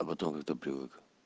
а потом как то привык